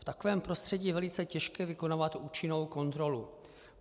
V takovém prostředí je velice těžké vykonávat účinnou kontrolu.